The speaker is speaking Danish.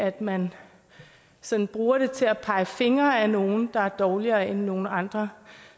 at man sådan bruger det til at pege fingre ad nogle der er dårligere end nogle andre